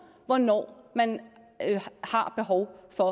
hvornår man har behov for